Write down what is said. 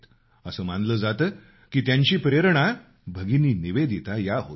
असं मानलं जातं की त्यांची प्रेरणा भगिनी निवेदिता या होत्या